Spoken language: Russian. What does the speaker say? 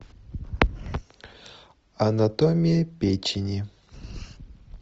анатомия печени